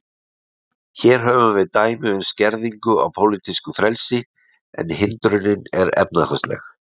Hér höfum við dæmi um skerðingu á pólitísku frelsi, en hindrunin er efnahagsleg.